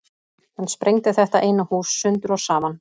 Hann sprengdi þetta eina hús sundur og saman.